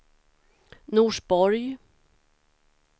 Norsborg